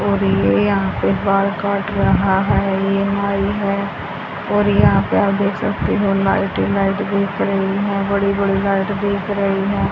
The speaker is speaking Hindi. और ये यहां पे बाल काट रहा है ये नाई है और यहां पे आप देख सकते हो लाइट ही लाइट दिख रही हैं बड़ी बड़ी लाइट दिख रही हैं।